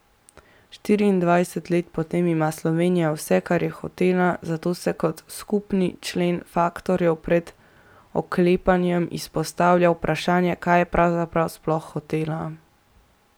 Štiriindvajset let potem ima Slovenija vse, kar je hotela, zato se kot skupni člen faktorjev pred oklepajem izpostavlja vprašanje, kaj je pravzaprav sploh hotela.